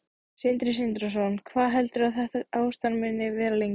Sindri Sindrason: Hvað heldurðu að þetta ástand muni vara lengi?